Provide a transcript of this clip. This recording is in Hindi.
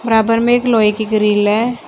बराबर में एक लोहे की ग्रील है।